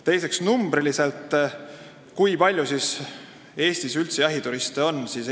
Teiseks, kui palju siis Eestis üldse jahituriste on?